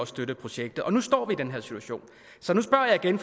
støtter projektet og nu står vi i den her situation så nu spørger jeg igen